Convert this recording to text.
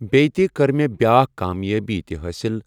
بیٚیہِ تہِ کٔر مےٚ بیاکھ کامیٲبی تہِ حٲصِل